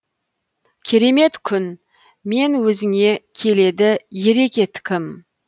керемет күн мен өзіңе келеді ере кеткім